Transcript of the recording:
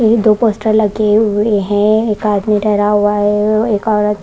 दो पोस्टर लगे हुए हैं एक आदमी डरा हुआ है एक औरत --